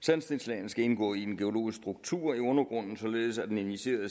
sandstenslagene skal indgå i en geologisk struktur i undergrunden således at den initierede